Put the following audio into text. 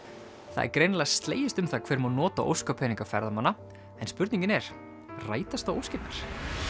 það er greinilega slegist um það hver má nota ferðamanna en spurningin er rætast þá óskirnar